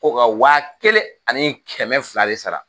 Ko ka waa kelen ani kɛmɛ fila de sara